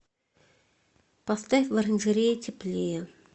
поставь в оранжерее теплее